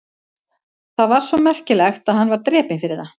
Það var svo merkilegt að hann var drepinn fyrir það?